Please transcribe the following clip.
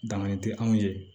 Danganiya tɛ anw ye